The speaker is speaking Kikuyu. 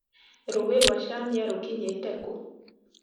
rũũi rwa chanĩa rũkinyĩte kũũ?